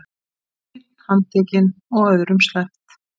Einn handtekinn og öðrum sleppt